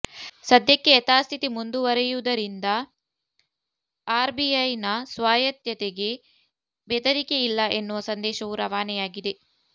ಸದ್ಯಕ್ಕೆ ಯಥಾಸ್ಥಿತಿ ಮುಂದುವರೆದಿರುವುದರಿಂದ ಆರ್ಬಿಐನ ಸ್ವಾಯತ್ತತೆಗೆ ಬೆದರಿಕೆ ಇಲ್ಲ ಎನ್ನುವ ಸಂದೇಶವೂ ರವಾನೆಯಾಗಿದೆ